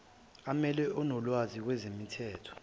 amelwe onolwazi kwezemithetho